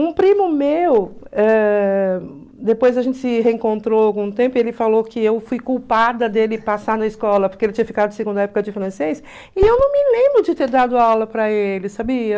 Um primo meu, depois a gente se reencontrou algum tempo, ele falou que eu fui culpada dele passar na escola, porque ele tinha ficado de segunda época de francês, e eu não me lembro de ter dado aula para ele, sabia?